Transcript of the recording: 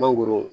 Mangoro